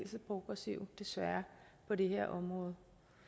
så progressive desværre på det her område